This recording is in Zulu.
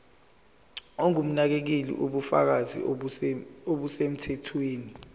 ongumnakekeli ubufakazi obusemthethweni